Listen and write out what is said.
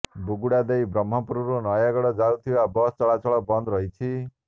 ବୁଗୁଡ଼ା ଦେଇ ବ୍ରହ୍ମପୁରରୁ ନୟାଗଡ଼ ଯାଉଥିବା ବସ୍ ଚଳାଚଳ ବନ୍ଦ ରହିଛି